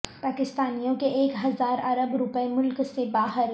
پاکستانیوں کے ایک ہزار ارب روپے ملک سے باہر